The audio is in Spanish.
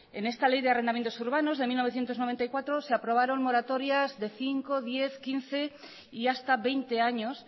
en esta ley de arrendamientos urbanos de mil novecientos noventa y cuatro se aprobaron moratorias de cinco diez quince y hasta veinte años